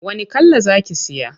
Wani kala za ki siya?